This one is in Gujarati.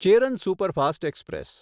Cheran superfast express